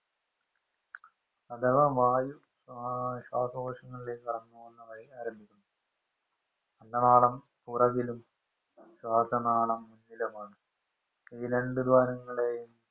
അഥവാ വായു ശ്വാസകോശങ്ങളിലേക്ക് കടന്നുപോകുന്ന വഴി ആരംഭിക്കുന്നു. അന്ന നാളം പുറകിലും ശ്വാസനാളം മുന്നിലുമാണ്. ഈ രണ്ട് ദ്വാരങ്ങളെ